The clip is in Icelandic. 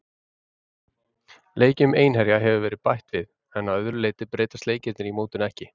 Leikjum Einherja hefur verið bætt við, en að öðru leyti breytast leikirnir í mótinu ekki.